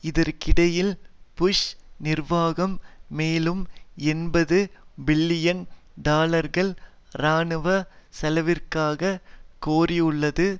இதற்கிடையில் புஷ் நிர்வாகம் மேலும் எண்பது பில்லியன் டாலர்கள் இராணுவ செலவிற்காக கோரியுள்ளது